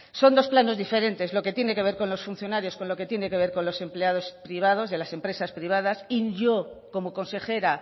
son dos planos diferentes lo que tiene que ver con los funcionarios con lo que tiene que ver con los empleados privados de las empresas privadas y yo como consejera